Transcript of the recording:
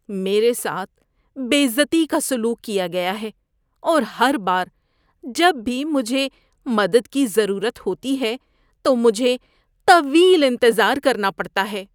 میرے ساتھ بے عزتی کا سلوک کیا گیا ہے اور ہر بار جب بھی مجھے مدد کی ضرورت ہوتی ہے تو مجھے طویل انتظار کرنا پڑتا ہے۔